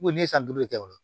Ko ne ye san duuru de kɛ o